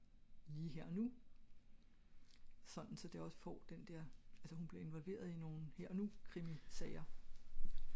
lige her og nu sådan så det ogs for den der altså at hun bliver involveret i nogle her og nu krimie serier